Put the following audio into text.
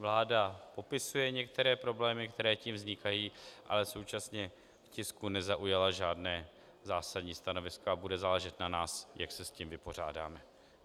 Vláda popisuje některé problémy, které tím vznikají, ale současně k tisku nezaujala žádné zásadní stanovisko a bude záležet na nás, jak se s tím vypořádáme.